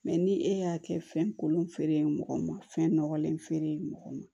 ni e y'a kɛ fɛn kolon fere mɔgɔ ma fɛn nɔgɔlen fere ye mɔgɔ ma